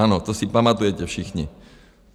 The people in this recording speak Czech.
Ano, to si pamatujete všichni.